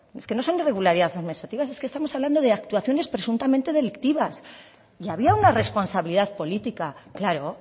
es que no son irregularidades administrativas es que estamos hablando de actuaciones presuntamente delictivas y había una responsabilidad política claro